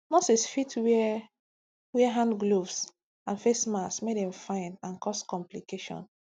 nurses fit wear wear hand gloves and face masks make dem fine and cause complication